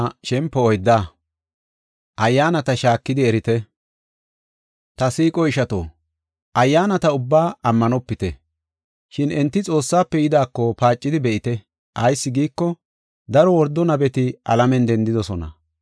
Ta siiqo ishato, ayyaanata ubbaa ammanopite, shin enti Xoossafe yidaako paacidi be7ite. Ayis giiko, daro wordo nabeti alamen dendidosona.